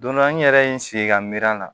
Don dɔ n yɛrɛ ye n sigi ka miiri a la